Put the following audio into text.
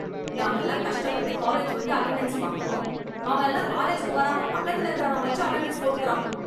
நாமெல்லாம் கஷ்டப்பட்டு காலேஜ் வந்து அட்டெண்டன்ஸ் வாங்குறோம் அவன் எல்லாம் காலேஜ்க்கு வராம பக்கத்துல இருக்கவன் வச்சு அட்டெண்டன்ஸ் போட்டுக்கிறான்